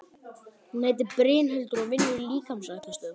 Hún heitir Brynhildur og vinnur í líkamsræktarstöð.